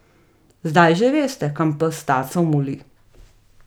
Zdaj že veste, kam pes taco moli.